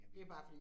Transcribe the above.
Jamen